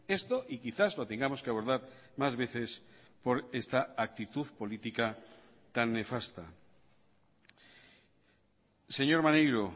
esto y quizás lo tengamos que abordar más veces por esta actitud política tan nefasta señor maneiro